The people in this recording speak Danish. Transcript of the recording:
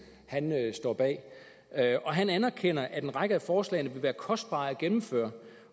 står bag han anerkender at en række af forslagene vil være kostbare at gennemføre